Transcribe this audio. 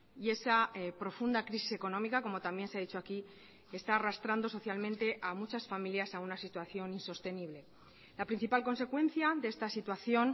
y esa profunda crisis económica como también se ha dicho aquí está arrastrando socialmente a muchas familias a una situación insostenible la principal consecuencia de esta situación